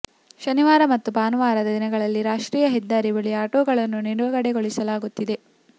ಶನಿವಾರ ಮತ್ತು ಭಾನುವಾರದ ದಿನಗಳಲ್ಲಿ ರಾಷ್ಟ್ರೀಯ ಹೆದ್ದಾರಿ ಬಳಿ ಆಟೋಗಳನ್ನು ನಿಲುಗಡೆ ಗೊಳಿಸಲಾಗುತ್ತಿದೆ